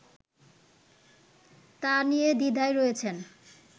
তা নিয়ে দ্বিধায় রয়েছেন